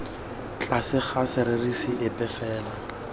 tlase ga serisi epe fela